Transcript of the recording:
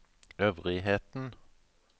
øvrigheten